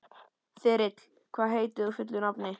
Þyrill, hvað heitir þú fullu nafni?